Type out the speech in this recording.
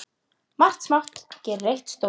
Margt smátt gerir eitt stórt!